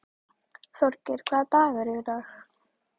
Þorgeir, hvaða dagur er í dag?